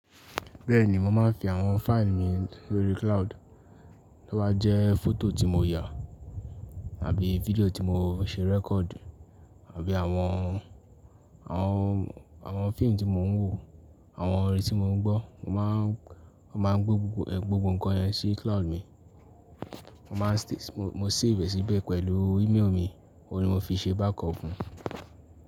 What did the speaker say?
Bẹ́ẹ̀ni, mo máa ń fi àwọn fáìlì mi lórí cloud. Toba jẹ fọ́tò tí mo yà àbí fídíò tí mo ń ṣe record, àbí àwọn, àwọn, àwọn fíìmù tí mò ń wò, àwọn orin tí mò ń gbọ́, mo má ń, mo má ń gbé gbogbo ẹ̀, gbogbo ǹkan yẹn sí cloud mi. Mo má ń stas-- mo, mo save e síbẹ̀ pẹ̀lú íméèjì mi, òun ni mo fi ń ṣe backup fún.